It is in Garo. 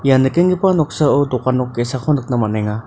ian nikenggipa noksao dokan nok ge·sako nikna man·enga.